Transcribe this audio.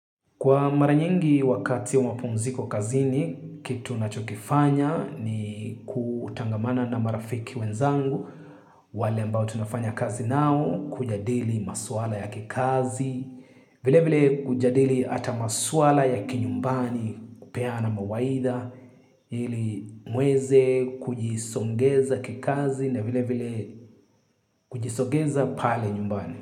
Kwa mara nyingi wakati wa mapumziko kazini, kitu nachokifanya ni kutangamana na marafiki wenzangu. Wale ambao tunafanya kazi nao, kujadili maswala ya kikazi, vile vile kujadili hata maswala ya kinyumbani kupeana mawaidha, ili muweze kujisongeza kikazi na vile vile kujisongeza pale nyumbani.